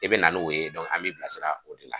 I bina n'o ye an b'i bilasira o de la